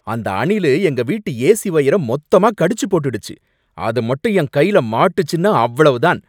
அந்த அணிலு எங்க வீட்டு ஏசி வயரை மொத்தமா கடிச்சு போட்டுடுச்சு, அது மட்டும் என் கையில மாட்டுச்சுன்னா அவ்வளவ்வு தான்